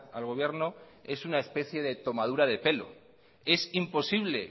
al gobierno es una especia de tomadura de pelo es imposible